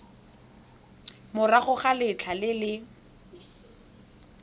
morago ga letlha le le